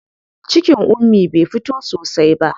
Cikin Ummi bai fito sosai ba.